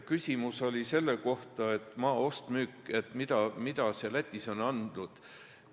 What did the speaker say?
Küsimus oli selle kohta, mida maa ost-müük Lätis on andnud.